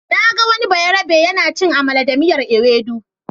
Na ga wani bayarabe yana cin amala da miyar Ewedu.